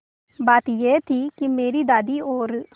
बात यह थी कि मेरी दादी और